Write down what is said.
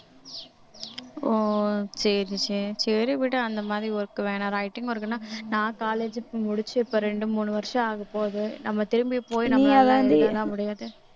ஓ சரி சரி சரி விடு அந்த மாதிரி work வேணாம் writing work ன்னா நான் college க்கு முடிச்சு இப்ப ரெண்டு மூணு வருஷம் ஆகப்போகுது நம்ம திரும்பி எல்லாம் முடியாது